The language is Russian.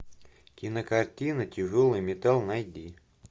кинокартина тяжелый металл найди